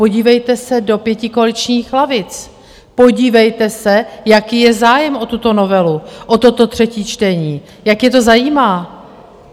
Podívejte se do pětikoaličních lavic, podívejte se, jaký je zájem o tuto novelu, o toto třetí čtení, jak je to zajímá.